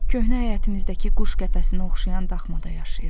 Köhnə həyətimizdəki quş qəfəsinə oxşayan daxmada yaşayıram.